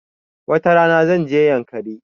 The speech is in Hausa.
Wata rana, zan je yankari.